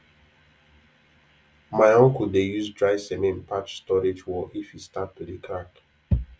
my uncle dey use dry cement patch storage wall if e start to dey crack